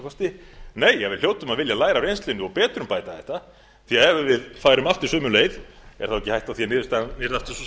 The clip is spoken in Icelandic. kosti nei að við hljótum að vilja læra af reynslunni og betrumbæta þetta því ef við færum aftur sömu leið er þá ekki